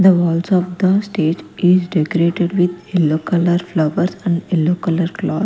The walls of the stage is decorated with yellow color flowers and yellow color cloth.